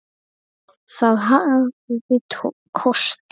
Það hafði kosti.